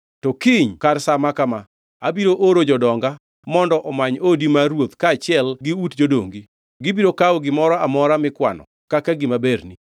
To kiny kar sa maka ma, abiro oro jodonga mondo omany odi mar ruoth kaachiel gi ut jodongi. Gibiro kawo gimoro amora mikwano kaka gima berni.’ ”